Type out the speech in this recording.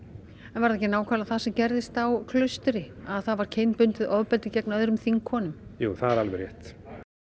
en var það ekki nákvæmlega það sem gerðist á Klaustri að það var kynbundið ofbeldi gegn öðrum þingkonum jú það er alveg rétt